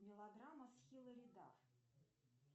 мелодрама с хилари дафф